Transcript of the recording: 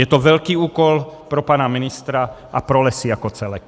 Je to velký úkol pro pana ministra a pro lesy jako celek.